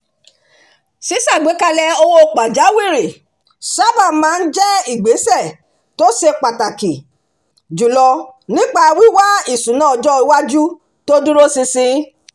ṣíṣàgbékalẹ̀ owó pàjáwìrì sábà máa ń jẹ́ ìgbésẹ̀ tó ṣe pàtàkì jùlọ nípa wíwá ìṣúná ọjọ́ iwájú tó dúró ṣinṣin